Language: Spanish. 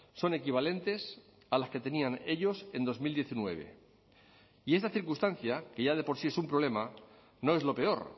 son equivalentes a las que tenían ellos en dos mil diecinueve y esta circunstancia que ya de por sí es un problema no es lo peor